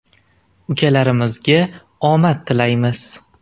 Ukalarimizga omad tilaymiz.